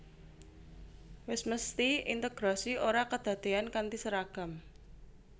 Wis mesthi integrasi ora kedadéyan kanthi seragam